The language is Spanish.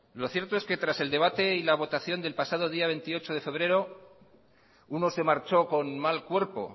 lo cierto es que tras el debate y la votación del pasado día veintiocho de febrero uno se marchó con mal cuerpo